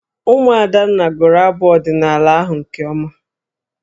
Ụmụ Adanna gụrụ abụ ọdịnaala ahụ nke ọma.